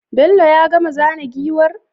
Bello ya gama zana giwar?